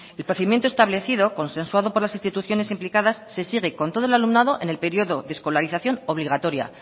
el procedimiento establecido consensuado por las instituciones implicadas se sigue con todo el alumnado en el periodo de escolarización obligatoria